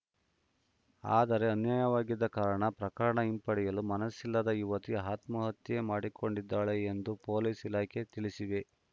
ಆದರೆ ಅನ್ಯಾಯವಾಗಿದ್ದ ಕಾರಣ ಪ್ರಕರಣ ಹಿಂಪಡೆಯಲು ಮನಸ್ಸಿಲ್ಲದ ಯುವತಿ ಆತ್ಮಹತ್ಯೆ ಮಾಡಿಕೊಂಡಿದ್ದಾಳೆ ಎಂದು ಪೊಲೀಸ್‌ ಇಲಾಖೆ ತಿಳಿಸಿವೆ